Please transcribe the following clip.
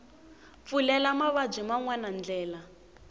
pfulela mavabyi man wana ndlela